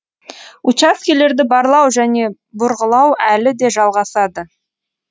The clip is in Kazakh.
учаскелерді барлау және бұрғылау әлі де жалғасады